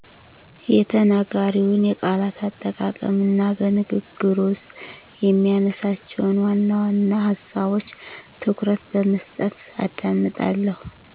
የተናጋሪውን የቃላት አጠቃቀም እና በንግግሩ ውስጥ የሚያነሳቸውን ዋናዋና ሀሳቦች ትኩረት በመስጠት አዳምጣለሁ።